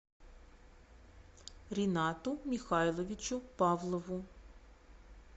ринату михайловичу павлову